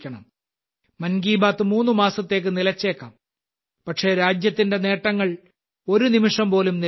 മൻ കി ബാത്ത് മൂന്ന് മാസത്തേക്ക് നിലച്ചേക്കാം പക്ഷേ രാജ്യത്തിന്റെ നേട്ടങ്ങൾ ഒരുനിമിഷം പോലും നിലയ്ക്കുന്നില്ല